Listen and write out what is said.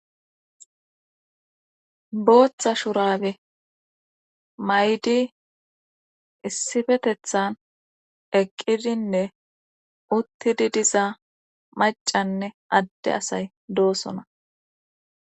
booththa shurabe mayidi issifetethan eqqidinne uttidi dizaa macanne adde asay doosona